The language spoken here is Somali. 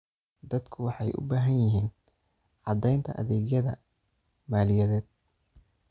Dadku waxay u baahan yihiin caddaynta adeegyada maaliyadeed.